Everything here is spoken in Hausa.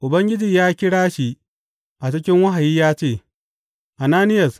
Ubangiji ya kira shi a cikin wahayi ya ce, Ananiyas!